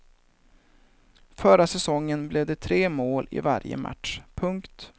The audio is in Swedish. Förra säsongen blev det tre mål i varje match. punkt